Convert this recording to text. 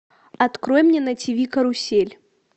открой мне на тиви карусель